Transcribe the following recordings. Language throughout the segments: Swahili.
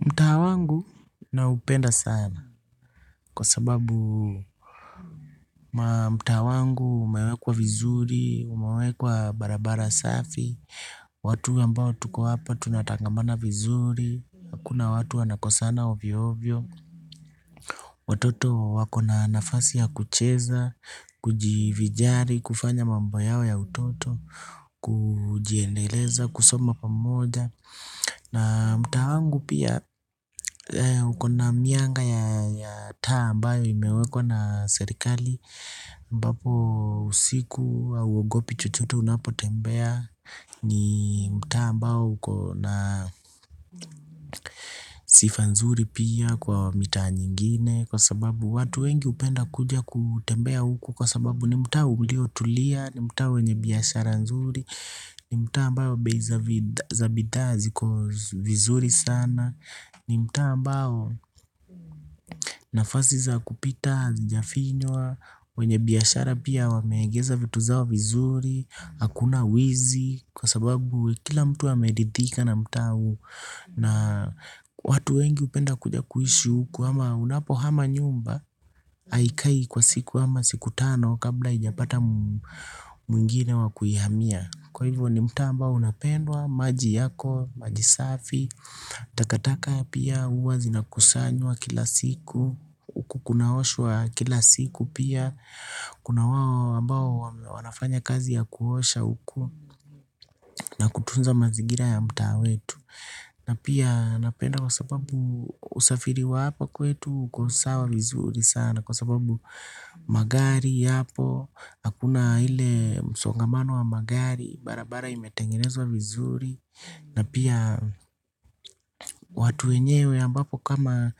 Mtaa wangu naupenda sana, kwa sababu mtaa wangu umewekwa vizuri, umewekwa barabara safi. Watu ambao tuko hapa tunatangamana vizuri, hakuna watu wanakosana ovyo ovyo. Watoto wako na nafasi ya kucheza, kujivijari, kufanya mambo yao ya utoto, kujiendeleza, kusoma pamoja. Na mtaa wangu pia, ukona mianga ya taa ambayo imewekwa na serikali ambapo usiku hauogopi chochote unapotembea. Ni mtaa ambao uko na sifa nzuri pia kwa mitaa nyingine, kwa sababu watu wengi hupenda kuja kutembea huku. Kwa sababu ni mtaa uliotulia, ni mtaa wenye biashara nzuri. Ni mtaa mbao bei za bidhaa ziko vizuri sana. Ni mtaa ambao nafasi za kupita hazijafinywa. Wenye biyashara pia wameegeza vitu zao vizuri. Hakuna wizi kwa sababu kila mtu ameridhika na mtaa huu. Na watu wengi hupenda kuja kuishi huku, ama unapo hama nyumba haikai kwa siku ama siku tano kabla hijapata mwingine wakuihamia, kwa hivyo ni mtaa ambao unapendwa maji yako, maji safi. Takataka pia huwa zinakusanywa kila siku, huku kunaoshwa kila siku pia. Kuna wao ambao wanafanya kazi ya kuosha huku. Na kutunza mazigira ya mtaa wetu, na pia napenda kwa sababu usafiri wa hapa kwetu uko sawa vizuri sana kwa sababu magari hapo hakuna ile msongamano wa magari, barabara imetengenezwa vizuri na pia watu wenyewe ambapo kama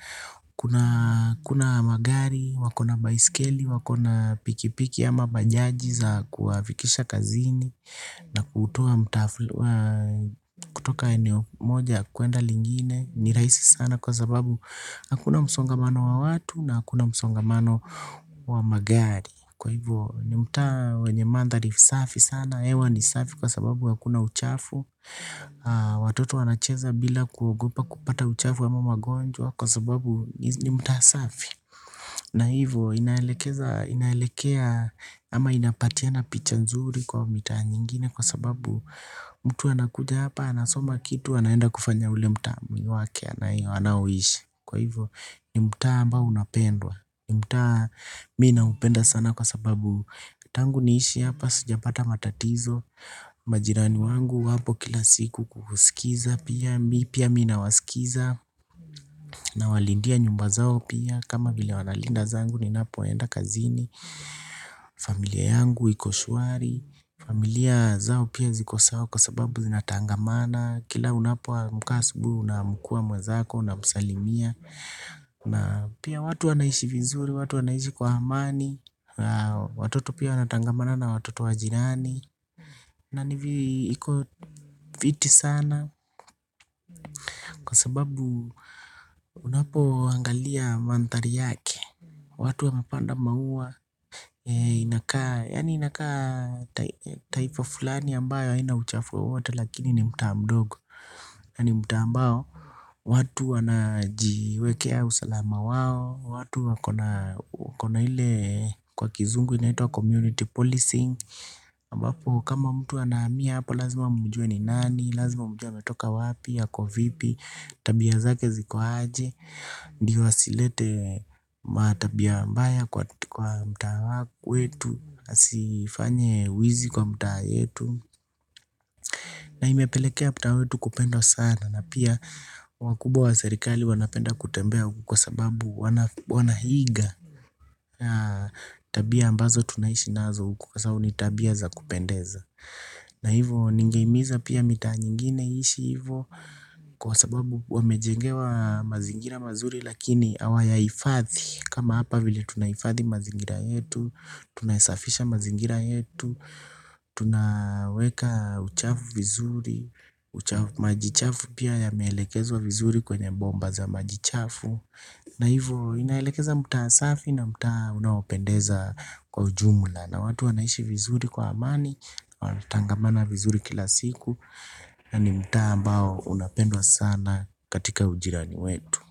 kuna magari, wakona baiskeli, wakona pikipiki ama bajaji za kuwafikisha kazini na kutoka eneo moja kuenda lingine ni rahisi sana kwa sababu hakuna msongamano wa watu, na hakuna msongamano wa magari, kwa hivyo ni mtaa wenye mandhari safi sana hewa ni safi kwa sababu hakuna uchafu. Watoto wanacheza bila kuogopa kupata uchafu ama magonjwa, kwa sababu ni mtaa safi. Na hivyo inaelekea ama inapatiana picha nzuri kwa mitaa nyingine. Kwa sababu mtu anakuja hapa anasoma kitu anaenda kufanya ule mtaa mwingine wake anaowishi kwa hivyo ni mtaa ambao unapendwa. Mta mimi naupenda sana kwa sababu tangu niishi hapa sijapata matatizo. Majirani wangu wapo kila siku kuhusikiza pia mimi nawasikiza. Nawalindia nyumba zao pia, kama vile wanalinda zangu ninapoenda kazini. Familia yangu iko shwari, familia zao pia ziko sawa kwa sababu zinatangamana, kila unapoamka hasubui unaamkua mwenzako unamsalimia, na pia watu wanaishi vizuri, watu wanaishi kwa amani. Watoto pia wanatangamana na watoto wa jirani, na ni viko fiti sana. Kwa sababu unapo angalia manthari yake, watu wamepanda maua inakaa, yaani inakaa taifa fulani ambayo haina uchafu wowote. Lakini ni mtaa mdogo, yaani mtaa ambao, watu wanajiwekea usalama wao watu wakona ile kwa kizungu inaitwa 'community policing' ambapo kama mtu anahamia hapo, lazima mjue ni nani lazima mjue ametoka wapi ya ako vipi, tabia zake ziko aje, ndio asilete matabia mbaya kwa mtaa wetu asifanye wizi kwa mtaa yetu. Na imepelekea mtaa wetu kupendwa sana, na pia wakubwa wa serikali wanapenda kutembelea huko kwa sababu wanahiga. Tabia ambazo tunaishi nazo huku kwa sababu ni tabia za kupendeza. Na hivo ningeimiza pia mitaa nyingine iishi hivo, kwa sababu wamejengewa mazingira mazuri lakini awayaifathi. Kama hapa vile tunaifathi mazingira yetu tunaesafisha mazingira yetu. Tunaweka uchafu vizuri, maji chafu pia yameelekezwa vizuri kwenye bomba za maji chafu. Na hivyo inaelekeza mtaa asafi na mtaa unapendeza kwa ujumla, na watu wanaishi vizuri kwa amani, wanatangamana vizuri kila siku. Na ni mtaa ambao unapendwa sana katika ujirani wetu.